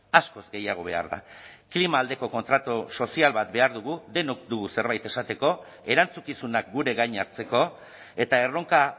askoz gehiago behar da klima aldeko kontratu sozial bat behar dugu denok dugu zerbait esateko erantzukizunak gure gain hartzeko eta erronka